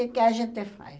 O que a gente faz?